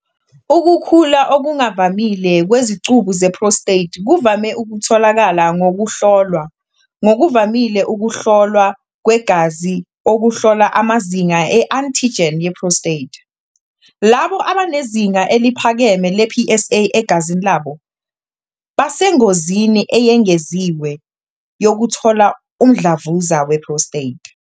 Ukukhula okungavamile kwezicubu ze-prostate kuvame ukutholakala ngokuhlolwa, ngokuvamile ukuhlolwa kwegazi okuhlola amazinga e-antigen ye-prostate, PSA. Labo abanezinga eliphakeme le-PSA egazini labo basengozini eyengeziwe yokuthola umdlavuza we-prostate.